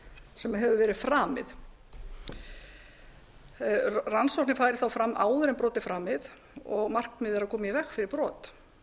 sem hefur verið framið rannsókn færi þá fram áður en brot er framið og markmiðið er að koma í veg fyrir brot